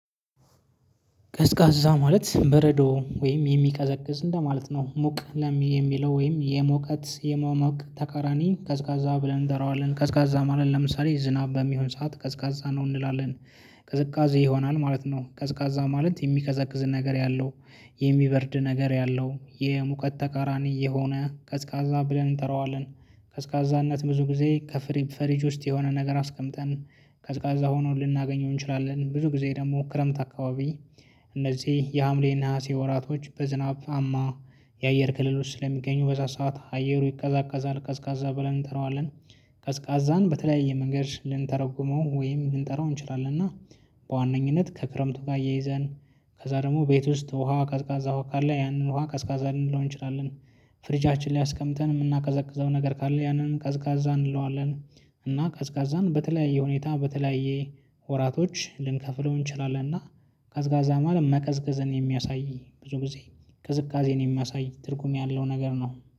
ቀዝቃዛ ማለት በረዶ ወይም የሚቀዘቅዝ እንደማለት ነው ሙቅ ለሚ የሚለው ወይም የሙቀትት የመሞቅ ተቃራኒ ቀዝቃዛ ብለን እንጠራዋለን ቀዝቀዛ ማለት ለምሳሌ ዝናብ በሚሆን ሰዓት ቀዝቃዛ ነው እንላለን። ቅዝቃዜ ይሆናል ማለት ነው ቀዝቃዛ ማለት የሚቀዘቅዝን ነገር ያለው። የሚበርድ ነገር ያለው የሙቀት ተቃራኒ የሆነ ቀዝቃዛ ብለን እንጠራዋለን። ቀዝቃዛነት ብዙ ጊዜ ከፍሬም ፍሪጅ ውስጥ የሆነ ነገር አስቀምጠን ቀዝቃዛ ሆኖ ልናገኘው እንችላለን። ብዙ ጊዜ ደግሞ ክረምት አካባቢ። እነዚህ የሀምሌ ነሀሴ ወራቶች በዝናብ አማ የአየር ክልሎች ስለሚገኙ በዛ ሰዓት አየሩ ይቀዛቀዛል ቀዝቃዛ ብለን እንጠራዋለን። ቀዝቃዛን በተለያየ መንገድ ልንተረጉመው ወይም ልንጠራው እንችላለን። እና በዋነኝነት ከክረምቱ ጋር አያይዘን ከዛ ደግሞ ቤት ውስጥ ውሃ ቀዝቃዛ ውሃ ካለ ያንን ውሃ ቀዝቃዛ ልንለው እንችላለን። ፍሪጃችን ላይ አስቀምጠን የምናቀዘቅዘው ነገር ካለ ያንን ቀዝቃዛ እንለዋለን። እና ቀዝቃዛን በተለያየ ሁኔታ በተለያየ ወራቶች ልንከፍለው እንችላለን። እና ቀዝቃዛ ማለት መቀዝቀዝን የሚያሳይ ብዙ ጊዜ ቅዝቃዜን የሚያሳይ ትርጉም ያለው ነገር ነው